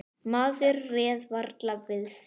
Maður réð varla við sig.